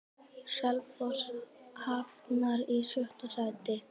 Selfoss hafnar í sjötta sæti.